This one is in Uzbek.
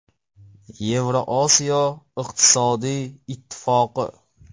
Yevrosiyo iqtisodiy ittifoqi.